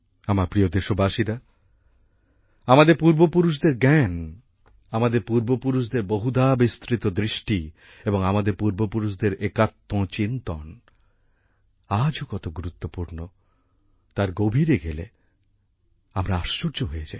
আমার প্রিয় দেশবাসীরা আমাদের পূর্বপুরুষদের জ্ঞান আমাদের পূর্বপুরুষদের বহুধাবিস্তৃত দৃষ্টি এবং আমাদের পূর্বপুরুষদের একাত্মচিন্তন আজও কত গুরুত্বপূর্ণ তার গভীরে গেলে আমরা আশ্চর্য হয়ে যাই